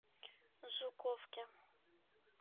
жуковке